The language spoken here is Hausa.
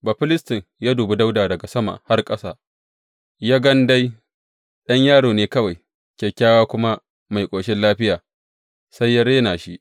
Bafilistin ya dubi Dawuda daga sama har ƙasa, ya gan dai ɗan yaro ne kawai, kyakkyawa kuma mai ƙoshin lafiya, sai ya rena shi.